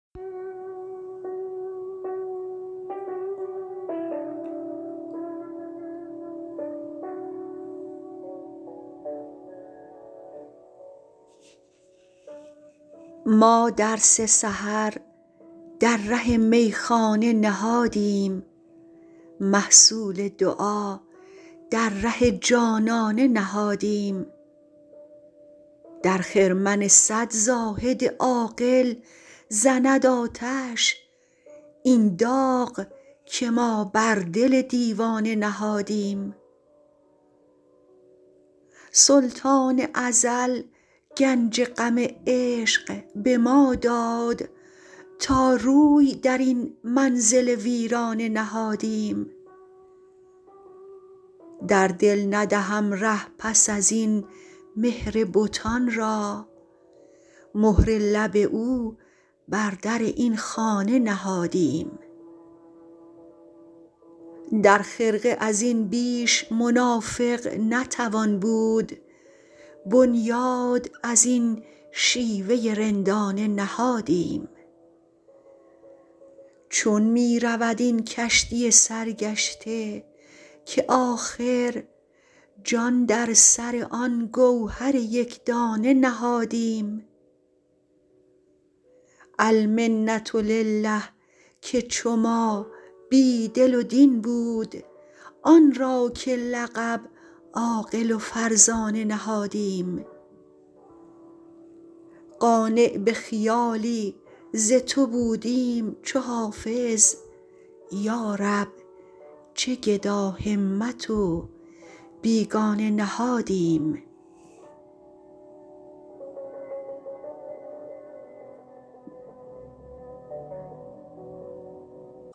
ما درس سحر در ره میخانه نهادیم محصول دعا در ره جانانه نهادیم در خرمن صد زاهد عاقل زند آتش این داغ که ما بر دل دیوانه نهادیم سلطان ازل گنج غم عشق به ما داد تا روی در این منزل ویرانه نهادیم در دل ندهم ره پس از این مهر بتان را مهر لب او بر در این خانه نهادیم در خرقه از این بیش منافق نتوان بود بنیاد از این شیوه رندانه نهادیم چون می رود این کشتی سرگشته که آخر جان در سر آن گوهر یک دانه نهادیم المنة لله که چو ما بی دل و دین بود آن را که لقب عاقل و فرزانه نهادیم قانع به خیالی ز تو بودیم چو حافظ یا رب چه گداهمت و بیگانه نهادیم